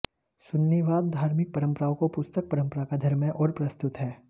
सुन्नीवाद धार्मिक परंपराओं को पुस्तक परंपरा का धर्म है और प्रस्तुत है